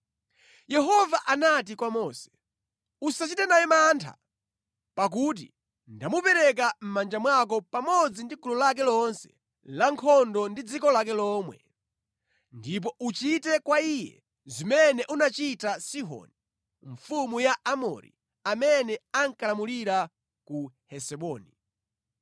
Yehova anati kwa Mose, “Usachite naye mantha pakuti ndamupereka mʼmanja mwako pamodzi ndi gulu lake lonse lankhondo ndi dziko lake lomwe. Ndipo uchite kwa iye zimene unachita Sihoni mfumu ya Aamori, amene ankalamulira ku Hesiboni.”